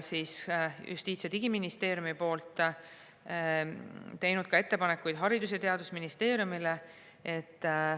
Justiits- ja Digiministeerium on teinud ka ettepanekuid Haridus- ja Teadusministeeriumile.